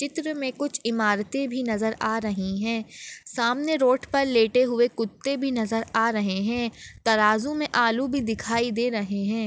चित्र मे कुछ इमारते भी नजर आ रही है सामने रोड पर लेटे हुए कुत्ते भी नजर आ रहे है तराजू मे आलू भी दिखाई दे रहे है।